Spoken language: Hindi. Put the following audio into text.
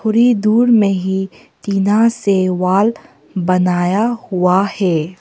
थोड़ी दुर में ही टीना से वाल बनाया हुआ है।